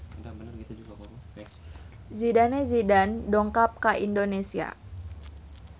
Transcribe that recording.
Zidane Zidane dongkap ka Indonesia